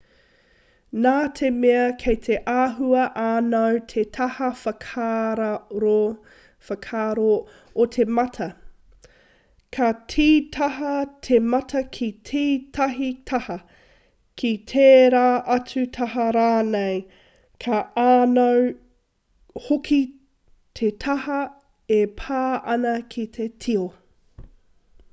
nā te mea kei te āhua ānau te taha whakararo o te mata ka tītaha te mata ki tētahi taha ki tērā atu taha rānei ka ānau hoki te taha e pā ana ki te tio